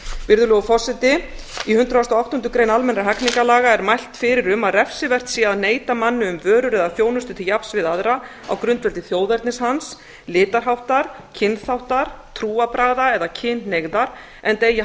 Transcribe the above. virðulegur forseti í hundrað og áttundu grein almennra hegningarlaga er mælt fyrir um að refsivert sé að neita manni um vörur eða þjónustu til jafns við aðra á grundvelli þjóðernis hans litarháttar kynþáttar trúarbragða eða kynhneigðar enda eigi